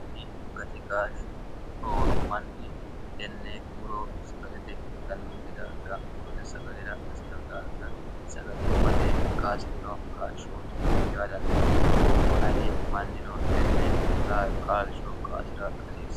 kuni gatikaashshi rooru manni tenne muro sagalete uyitannonke daafira murote sagalera asi'rino daafira sagalimmate kaasi'rino kaashshooti yaa dandiinanni aye mannino tenne qaalsho qaasi'ra asiirsa